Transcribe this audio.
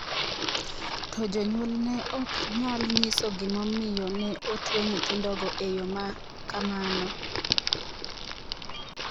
To jonyuol ne ok nyal nyiso gimomiyo ne otwe nyithindogo e yo ma kamano.